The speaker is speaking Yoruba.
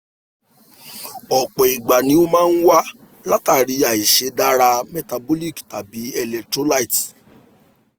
ọ̀pọ̀ ìgbà ni ó máa ń wá látàrí àìṣeé dára metabolic tàbí electrolyte